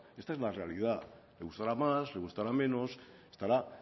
esta es la realidad le gustará más le gustará menos estará